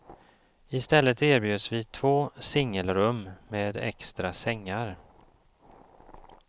I stället erbjöds vi två singelrum med extra sängar.